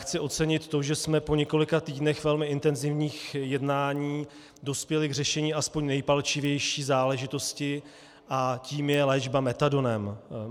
Chci ocenit to, že jsme po několika týdnech velmi intenzivních jednání dospěli k řešení aspoň nejpalčivější záležitosti a tou je léčba metadonem.